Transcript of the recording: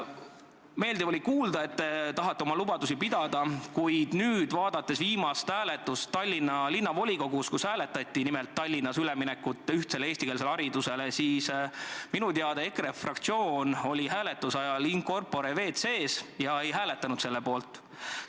Meeldiv oli kuulda, et te tahate oma lubadusi pidada, kuid viimasel hääletusel Tallinna Linnavolikogus, kus hääletati nimelt Tallinnas üleminekut ühtsele eestikeelsele haridusele, minu teada EKRE fraktsioon oli hääletuse ajal in corpore WC-s ja ei hääletanud selle poolt.